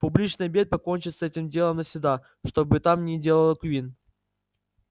публичный обед покончит с этим делом навсегда что бы там ни делал куинн